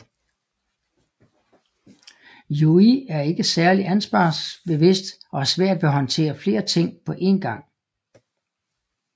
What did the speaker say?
Yui er ikke særlig ansvarsbevidst og har svært ved at håndtere flere ting på en gang